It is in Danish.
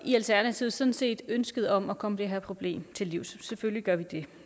i alternativet sådan set ønsket om at komme det her problem til livs selvfølgelig gør vi det